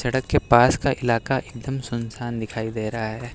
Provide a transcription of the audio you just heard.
सड़क के पास का इलाका एकदम सुनसान दिखाई दे रहा है।